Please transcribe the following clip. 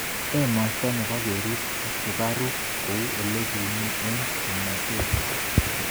Emosto nebo keriib sukaruk kou ole kiiu eng tomotet?